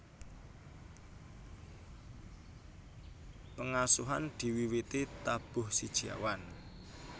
Pengasuhan diwiwiti tabuh siji awan